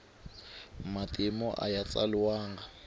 matimu aya tsaliwanga